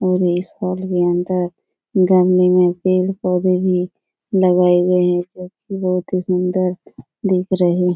और इस के अंदर गमले में पेड़ पौधे भी लगाए गए हैं जो कि बहुत ही सुंदर दिख रहे --